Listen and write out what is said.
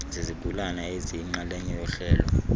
zezigulana eziyinxalenye yohlelo